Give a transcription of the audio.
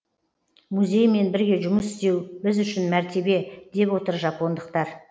музеймен бірге жұмыс істеу біз үшін мәртебе деп отыр жапондықтар